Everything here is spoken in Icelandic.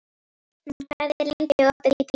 Rósmann, hvað er lengi opið í Byko?